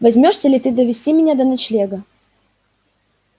возьмёшься ли ты довести меня до ночлега